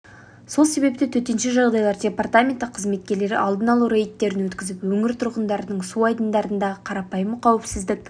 сол себепті төтенше жағдайлар департаменті қызметкерлері алдын алу рейдтерін өткізіп өңір тұрғындарына су айдындарындағы қарапайым қауіпсіздік